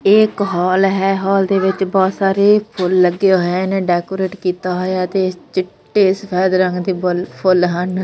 ਇਹ ਇੱਕ ਹਾਲ ਹੈ ਹਾਲ ਦੇ ਵਿਚ ਬਹੁਤ ਸਾਰੇ ਫੁੱਲ ਲੱਗੇ ਹੋਏ ਨੇ ਡੈਕੋਰਤੇ ਕਿੱਤਾ ਹੋਇਆ ਤੇ ਚਿੱਟੇ ਸੁਫ਼ੇਦ ਰੰਗ ਦੇ ਬੁੱਲ ਫੁੱਲ ਹਨ।